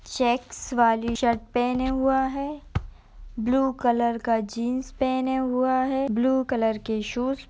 Checks वाली shirt पहने हुआ है । ब्लू कलर का जींस पहने हुआ है । ब्लू कलर कि शूस --